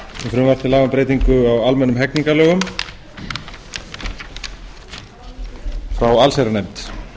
frumvarp til laga um breytingu á almennum hegningarlögum frá allsherjarnefnd